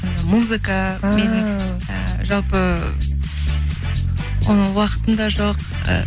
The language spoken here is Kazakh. музыка ііі і жалпы оны уақытым да жоқ і